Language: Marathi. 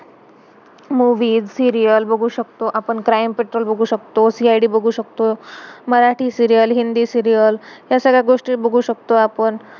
मूवीज movies, सीरियल serial, बघू शकतो. आपण क्राइम पट्रोल crime-patrol बघू शकतो, सि-आय-डी CID बघू शकतो. अह Marathi serial serial, Hindi serial, ह्या सगळ्या गोष्ठी बघू शकतो आपण.